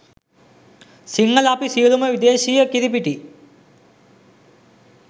සිංහල අපි සියලුම විදේශීය කිරිපිටි